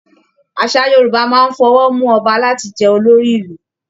Àṣà Yorùbá máa n f'ọwó mú Ọba láti jẹ olórí Ìlú.